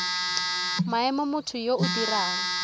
maemo motho yo o dirang